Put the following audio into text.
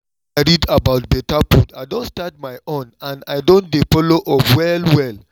when i read about better food i don start my own and i don dey follow up well well